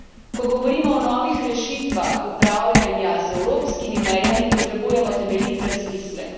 Ko govorimo o novih rešitvah upravljanja z evropskimi mejami, potrebujemo temeljit razmislek.